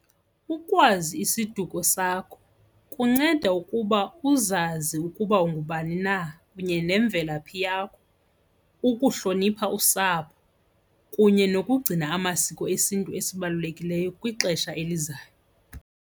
Ukwazi isiduko sakho kunceda ukuba uzazi ukuba ungubani na kunye nemvelaphi yakho ukuhlonipha usapho kunye nokugcina amasiko esintu esibalulekileyo kwixesha elizayo.